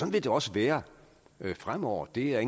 vil det også være fremover det er